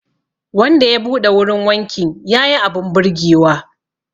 Wanda ya buɗe wurin wankin ya yi abin birgewa